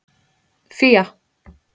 Fía